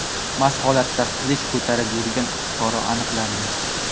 mast holatda qilich ko‘tarib yurgan fuqaro aniqlandi.